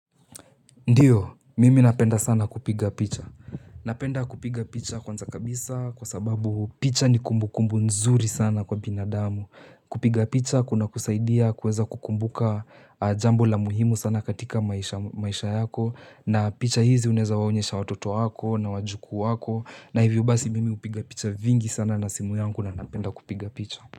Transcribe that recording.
Ndio, mimi napenda sana kupiga picha. Napenda kupiga picha kwanza kabisa kwa sababu picha ni kumbu kumbu nzuri sana kwa binadamu. Kupiga picha kuna kusaidia kuweza kukumbuka jambo la muhimu sana katika maisha yako. Na picha hizi uneweza waonyesha watoto wako na wajukuu wako. Na hivyo basi mimi upiga picha vingi sana na simu yangu na napenda kupiga picha.